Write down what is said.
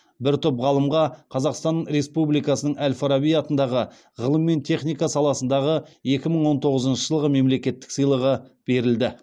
бір топ ғалымға қазақстан республикасының әл фараби атындағы ғылым мен техника саласындағы екі мың он тоғызыншы жылғы мемлекеттік сыйлығы берілді